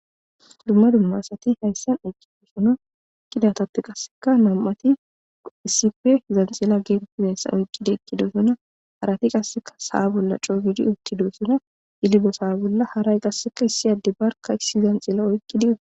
dumma dumma asati hayssan eqkidosona ekidatappe qasseka nam7ati issife zanxila geetettideyssa oykkidi ekkidosona harati qasseka saa bolla coogidi uttido suna yilibo saa bolla haray qasseka issi adde barka issi zanxila oykkidi